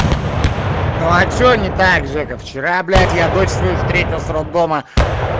а что не так же как вчера блять я дочь свою встретил с роддома